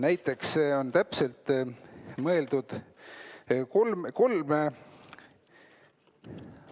Näiteks see on täpselt mõeldud kolme ...